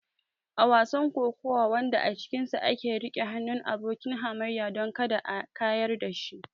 A wasan kokawa wanda a cikinsa ake riƙe hannun abokin hamayyar don kada a kayar da shi.